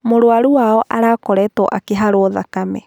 Mũrũaru Wao akoretwo akĩharwo thakame.